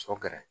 Sɔ gɛrɛ